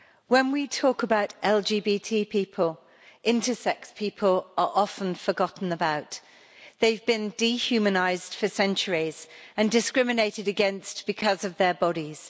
Madam President, when we talk about LGBT people, intersex people are often forgotten about. They have been dehumanised for centuries and discriminated against because of their bodies.